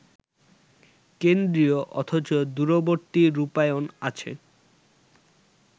কেন্দ্রীয় অথচ দূরবর্তী রূপায়ণ আছে